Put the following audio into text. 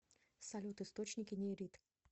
салют источники нейрит